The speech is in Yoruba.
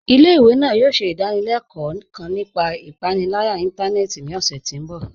Ilẹ̀-ìwé náà yòò ṣẹ̀ idàníléló̩kò̩ kán nípà ìpànìlàyà ìntànẹ̀ẹ̀tì ní ọṣẹ̀ ti mbọ̀.